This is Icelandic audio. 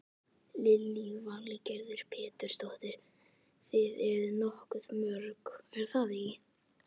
Lillý Valgerður Pétursdóttir: Þið eruð nokkuð mörg er það ekki?